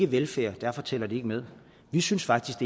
velfærd og derfor tæller de ikke med vi synes faktisk at